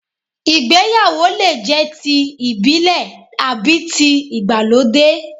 Ìgbéyàwó lè jẹ́ ti ìbílẹ̀ àbí tí ìgbàlódé